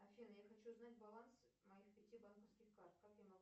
афина я хочу узнать баланс моих пяти банковских карт как я могу